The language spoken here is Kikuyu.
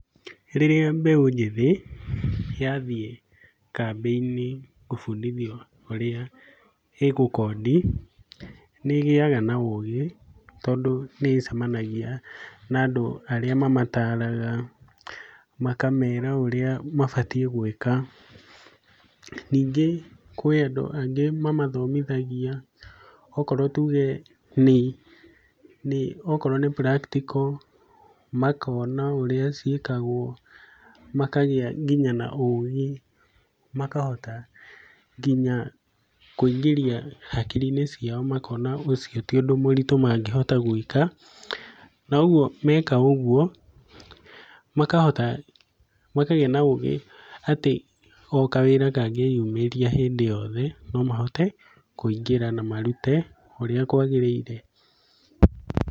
Rĩrĩa mbeũ njĩthĩ, yathiĩ kambĩ-inĩ gũbundithio ũrĩa ĩgũ code i, nĩ ĩgĩaga na ũgĩ, tondũ nĩ ĩcemanagia na andũ arĩa mamataraga, makamera ũrĩa mabatiĩ gũĩka. Ningĩ kũĩ andũ angĩ mamathomithagia, okorwo tuge nĩ, okorwo nĩ practical makona ũrĩa ciĩkagwo, makagĩa nginya na ũgĩ, makahota nginya kũingĩria hakiri-inĩ cia makona ũcio ti ũndũ mũritũ mangĩhota gũĩka. Na ũguo meka ũguo, makohota, makagĩa na ũgĩ atĩ, o kawĩra kangĩyumĩria o hĩndĩ yothe, nomahote kũingĩra na marute ũrĩa kwagĩrĩire.